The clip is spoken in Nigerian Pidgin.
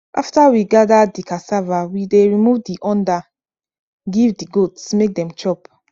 after we gather di cassava we dey remove di under give di goats make dem chop